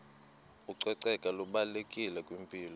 ucoceko lubalulekile kwimpilo